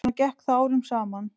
Svona gekk það árum saman.